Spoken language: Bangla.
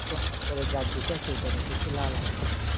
যার যেটা আছে ওইটা নিয়ে ওইটা লাল আলু